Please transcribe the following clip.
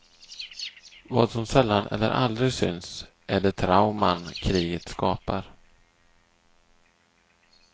Vad som sällan eller aldrig syns är de trauman kriget skapar.